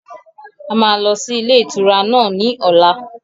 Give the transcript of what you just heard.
A máa lọ sí ilé ìtura náà ní ọ̀la